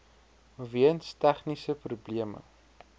weens tegniese probleme